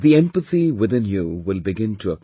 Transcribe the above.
The empathy within you will begin to appear